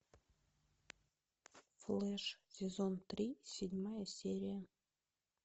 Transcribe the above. флэш сезон три седьмая серия